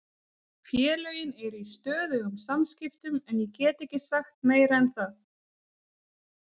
Félögin eru í stöðugum samskiptum en ég get ekki sagt meira en það.